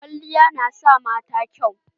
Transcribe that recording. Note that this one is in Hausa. Kwalliya na sa mata kyau.